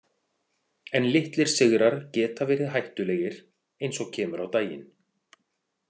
En litlir sigrar geta verið hættulegir, eins og kemur á daginn.